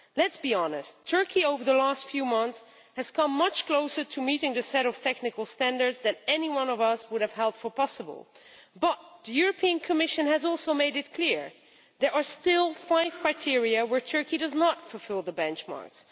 Let us be honest Turkey over the last few months has come much closer to meeting the set of technical standards than any of us would have thought possible, but the Commission has also made it clear that there are still five criteria where Turkey does not fulfil the benchmarks.